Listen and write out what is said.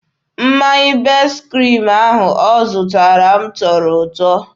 Mmanya best kriim ahụ ọ zụtara m tọrọ ụtọ.